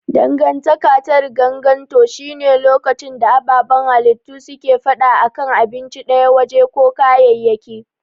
Dangantaka ta riganganto shi ne lokacin da ababan halittu suke fada a kan abinci daya, waje ko kayayyaki.